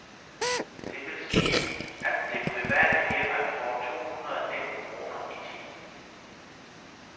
Det vil sige, at det private firma får to hundrede nitten kroner i timen.